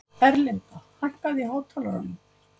Erlinda, hækkaðu í hátalaranum.